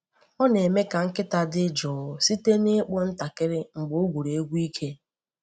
Ọ na-eme ka nkịta dị jụụ site na ịkpụ ntakịrị mgbe o gwuru egwu ike.